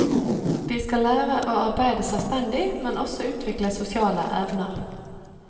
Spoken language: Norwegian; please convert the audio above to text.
De skal lære å arbeide selvstendig, men også utvikle sosiale evner.